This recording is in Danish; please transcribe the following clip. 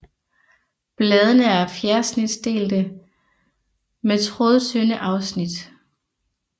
Bladene er fjersnitdelte med trådtynde afsnit